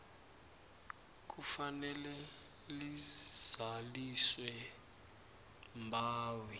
kufanele lizaliswe mbawi